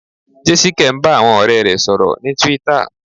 Jésíkẹ́ ń bá àwọn ọ̀rẹ́ rẹ̀ sọ̀rọ̀ ní Twitter.